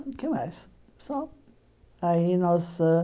O que mais só aí nós ãh